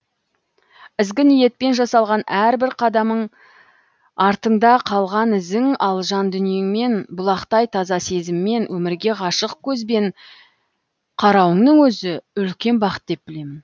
ізгі ниетпен жасалған әрбір қадамың артың да қалған ізің ал жан дүниеңмен бұлақтай таза сезіммен өмірге ғашық көзбен қарауыңнын өзі үлкен бақыт деп білемін